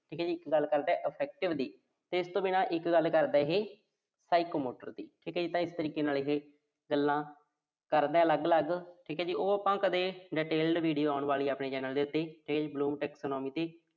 ਇਹੇ ਗੱਲ ਕਰਦਾ ਦੀ। ਇਸ ਤੋਂ ਬਿਨਾਂ ਇੱਕ ਗੱਲ ਕਰਦਾ ਇਹੇ Psychomotor ਦੀ। ਠੀਕ ਆ ਜੀ। ਤਾਂ ਇਸ ਤਰੀਕੇ ਦੇ ਨਾਲ ਇਹੇ ਗੱਲਾਂ ਕਰਦਾ ਅਲੱਗ-ਅਲੱਗ, ਠੀਕ ਆ ਜੀ। ਉਹ ਆਪਾਂ ਕਦੇ detailed video ਆਉਣ ਵਾਲੀ ਆ ਆਪਣੇ channel ਦੇ ਉੱਤੇ